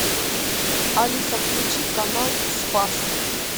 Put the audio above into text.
алиса включи канал спас